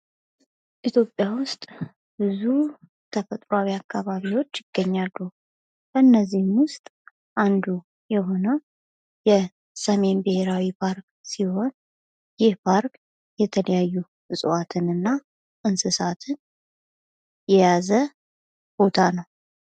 ኢትዮጵያ ውስጥ ብዙ ተፈጥሯዊ አካባቢዎች ይገኛሉ። ከነዚህም ውስጥ አንዱ የሆነው የሰሜን ብሄራዊ ፓርክ ሲሆን ይህ ፓርክ የተለያዩ እንስሳትን እና እፅዋትን የያዘ ነው ።